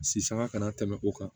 Sisanga kana tɛmɛ o kan